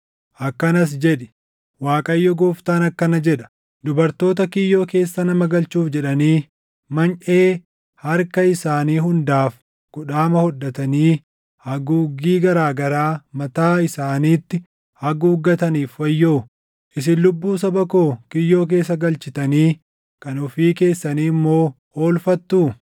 akkanas jedhi; ‘ Waaqayyo Gooftaan akkana jedha: Dubartoota kiyyoo keessa nama galchuuf jedhanii manyʼee harka isaanii hundaaf kudhaama hodhatanii haguuggii garaa garaa mataa isaaniitti haguuggataniif wayyoo. Isin lubbuu saba koo kiyyoo keessa galchitanii kan ofii keessanii immoo oolfattuu?